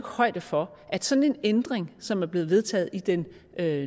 højde for at sådan en ændring som bliver vedtaget med den